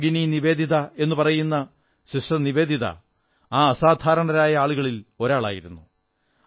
നാം ഭഗിനി നിവേദിത എന്നു പറയുന്ന സിസ്റ്റർ നിവേദിത ആ അസാധാരണരായ ആളുകളിൽ ഒരാളായിരുന്നു